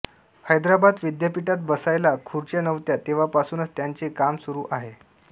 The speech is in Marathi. हैदराबाद विद्यापीठात बसायला खुच्र्या नव्हत्या तेव्हापासून त्यांचे काम सुरू आहे